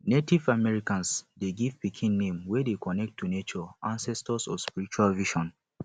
native americans de give pikin name wey dey connected to nature ancestor or spiritual vision